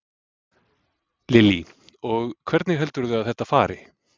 Lillý: Og hvernig heldurðu að þetta fari?